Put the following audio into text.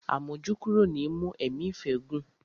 Àmójúkúrò ni í mú ẹ̀mí ìfẹ́ gùn.